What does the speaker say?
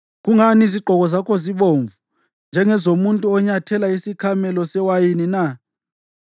Kungani izigqoko zakho zibomvu njengezomuntu onyathela isikhamelo sewayini na?